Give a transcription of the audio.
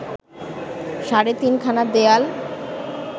সাড়ে তিনখানা দেয়াল